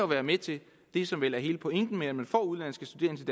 være med til det som vel er hele pointen med at man får udenlandske studerende